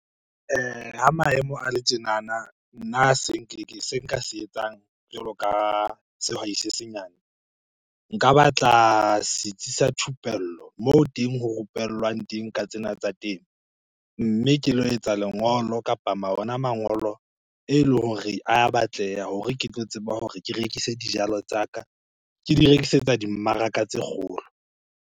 Ha maemo a le tjenana, nna se se nka se etsang jwalo ka sehwai se senyane. Nka batla setsi sa thupello moo teng ho rupellwang teng ka tsena tsa temo. Mme kelo etsa lengolo kapa ona mangolo eleng hore a batleha hore ke tlo tseba hore ke rekise dijalo tsa ka, ke di rekisetsa dimmaraka tse kgolo.